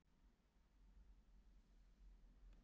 Leikirnir er opnir.